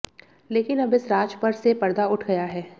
लेकिन अब इस राज पर से पर्दा उठ गया है